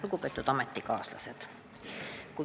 Lugupeetud ametikaaslased!